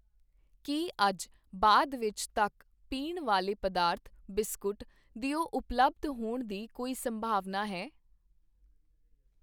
ਕੀ ਅੱਜ ਬਾਅਦ ਵਿੱਚ ਤੱਕ, ਪੀਣ ਵਾਲੇ ਪਦਾਰਥ, ਬਿਸਕੁਟ ਦਿਓ ਉਪਲੱਬਧ ਹੋਣ ਦੀ ਕੋਈ ਸੰਭਾਵਨਾ ਹੈ?